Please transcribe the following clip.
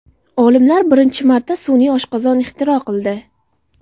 Olimlar birinchi marta sun’iy oshqozon ixtiro qildi.